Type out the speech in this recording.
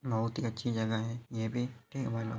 बहुत ही अच्छी जगह है ये भी --